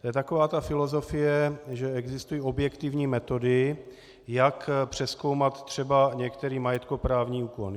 To je taková ta filozofie, že existují objektivní metody, jak přezkoumat třeba některý majetkoprávní úkon.